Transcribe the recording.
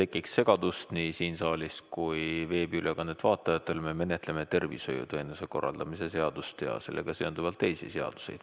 Et ei tekiks segadust nii siin saalis kui ka veebiülekande vaatajatel, me menetleme tervishoiuteenuste korraldamise seadust ja sellega seonduvalt teisi seadusi.